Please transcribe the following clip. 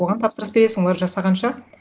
оған тапсырыс бересің олар жасағанша